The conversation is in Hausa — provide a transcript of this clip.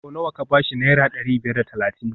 Sau nawa ka ba shi Naira dari biyar da talatin